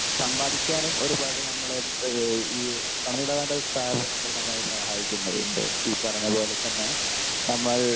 Speaker 1 സമ്പാദിക്കാനും ഒരുപാട് നമ്മളെ ഏഹ് ഈ പണമിടപാട് സ്ഥാപനങ്ങൾ നമ്മളെ സഹായിക്കുന്നവയാണ്. ഈ പറഞ്ഞ പോലെ തന്നെ നമ്മൾ